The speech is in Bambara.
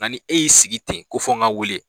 Nka ni e y'i sigi ten ko fo n ka wele